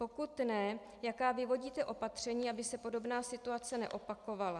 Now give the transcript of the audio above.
Pokud ne, jaká vyvodíte opatření, aby se podobná situace neopakovala?